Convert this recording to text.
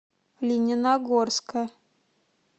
лениногорска